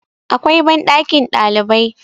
akwai banɗakin ɗalibai